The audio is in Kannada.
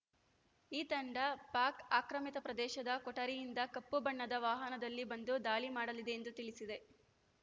ಈ ತಂಡ ಪಾಕ್ ಆಕ್ರಮಿತ ಪ್ರದೇಶದ ಕೋಟರಿಯಿಂದ ಕಪ್ಪು ಬಣ್ಣದ ವಾಹನದಲ್ಲಿ ಬಂದು ದಾಳಿ ಮಾಡಲಿದೆ ಎಂದು ತಿಳಿಸಿದೆ